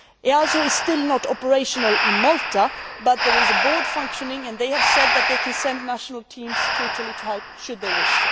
EASO is still not operational in Malta, but there is a board functioning and they have said that they can send national teams to Italy to help should they wish.